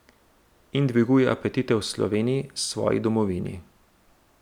In dviguje apetite v Sloveniji, svoji domovini ...